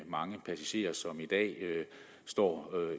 mange passagerer som i dag står